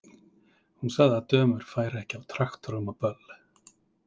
Hún sagði að dömur færu ekki á traktorum á böll.